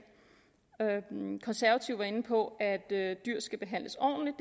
konservative var inde på at dyr skal behandles ordentligt